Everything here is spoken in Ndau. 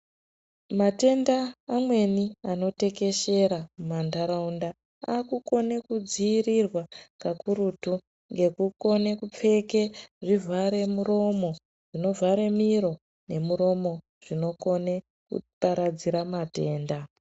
Matenda amweni anotekeshera mumantaraunda akukone kudziirirwa kakurutu ngekukone kupfeke zvivhare muromo, zvinovhare miro nemuromo zvinokone kuparadzire matenda.